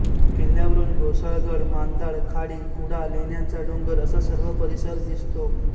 किल्ल्यावरून घोसाळगड मांदाड खाडी कुडा लेण्यांचा डोंगर असा सर्व परिसर दिसतो